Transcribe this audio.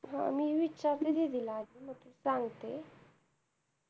मी विचारते दीदी ला आधी मग ती सांगते